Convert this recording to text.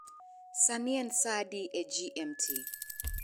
sani en saa adi e g. m. t.